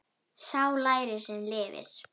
Sá lærir sem lifir.